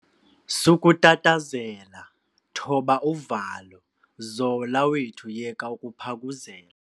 Sukutatazela, thoba uvalo. zola wethu yeka ukuphakuzela